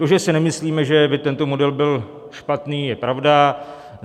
To, že si nemyslíme, že by tento model byl špatný, je pravda.